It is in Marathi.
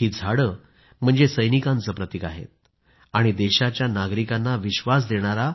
ही झाडं म्हणजे सैनिकांचे प्रतीक आहेत आणि देशाच्या नागरिकांना विश्वास देणारा